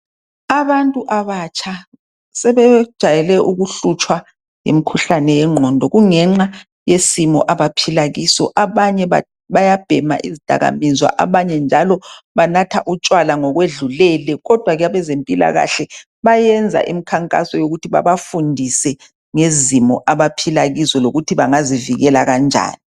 Abantu abatsha sebejwayele ukuhlutshwa yimkhuhlane yengqondo kungenxa yesimo abaphila kiso. Abanye bayabhema izidakamizwa, abanye njalo banatha utshwala ngokwedlulele. Kodwa ke abezempilakahle bayenza imkhankaso yokuthi babafundise ngezimo abaphila kizo lokuthi bangazivikela kanjani.